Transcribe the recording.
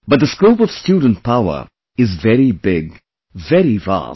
But the scope of student power is very big, very vast